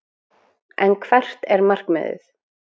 En hvert er markmiðið?